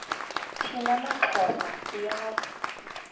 thina maxhosa siyazi